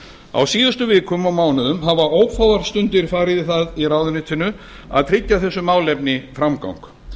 á síðustu vikum og mánuðum hafa ófáar stundir farið í það í ráðuneytinu að tryggja þessu málefni framgang